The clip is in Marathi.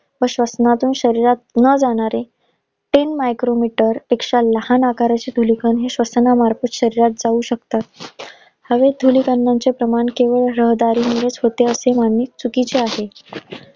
व श्वसनातून शरीरात न जाणारे तीन micro-met मानने चुकीचे आहे.